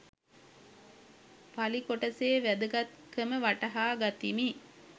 පලි කොටසේ වැදගත්කම වටහා ගතිමි